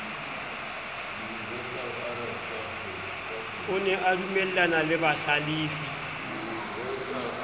o ne adumellana le bahlalefi